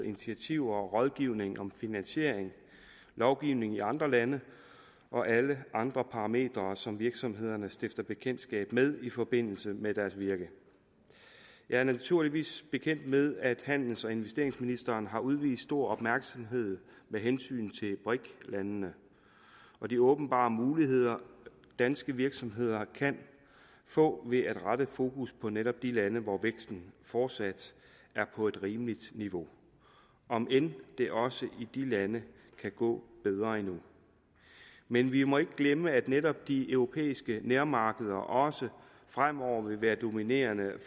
initiativer og rådgivning om finansiering lovgivningen i andre lande og alle andre parametre som virksomhederne stifter bekendtskab med i forbindelse med deres virke jeg er naturligvis bekendt med at handels og investeringsministeren har udvist stor opmærksomhed med hensyn til briks landene og de åbenbare muligheder danske virksomheder kan få ved at rette fokus på netop de lande hvor væksten fortsat er på et rimeligt niveau om end det også i de lande kunne gå bedre endnu men vi må ikke glemme at netop de europæiske nærmarkeder også fremover vil være dominerende